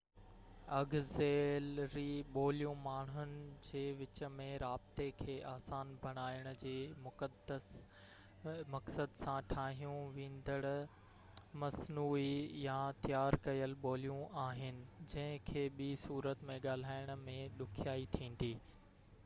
auxiliary ٻوليون ماڻهن جي وچ ۾ رابطي کي آسان بڻائڻ جي مقصد سان ٺاهيون وينديڙ مصنوعي يا تيار ڪيل ٻوليون آهن جن کي ٻي صورت ۾ ڳالهائڻ ۾ ڏکيائي ٿيندي